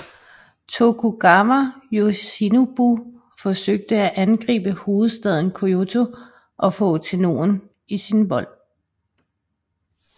Tokugawa Yoshinobu forsøgte at angribe hovedstaden Kyōto og få Tennōen i sin vold